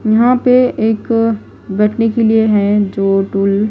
यहां पे एक बैठने के लिए है जो टूल ।